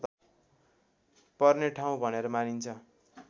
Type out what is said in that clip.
पर्ने ठाउँ भनेर मानिन्छ